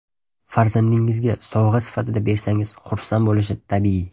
Farzandingizga sovg‘a sifatida bersangiz xursand bo‘lishi tabiiy.